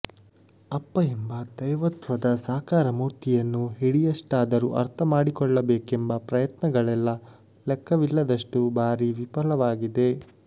ಅಪ್ಪ ಎಂಬ ದೈವತ್ವದ ಸಾಕಾರ ಮೂರ್ತಿಯನ್ನು ಹಿಡಿಯಷ್ಟಾದರೂ ಅರ್ಥಮಾಡಿಕೊಳ್ಳಬೇಕೆಂಬ ಪ್ರಯತ್ನಗಳೆಲ್ಲ ಲೆಕ್ಕವಿಲ್ಲದಷ್ಟು ಬಾರಿ ವಿಫಲವಾಗಿದೆ